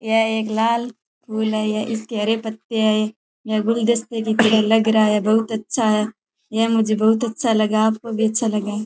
यह एक लाल फूल है इसके हरे पत्ते आए हैं यह गुलदस्ते की तरह लग रहा है बहुत अच्छा है यह मुझे बहुत अच्छा लगा आपको भी अच्छा लगा --